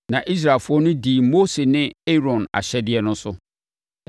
Na Israelfoɔ no dii Mose ne Aaron ahyɛdeɛ no so.